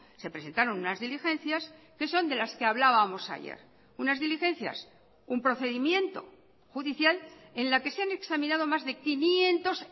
se presentaron unas diligencias que son de las que hablábamos ayer unas diligencias un procedimiento judicial en la que se han examinado más de quinientos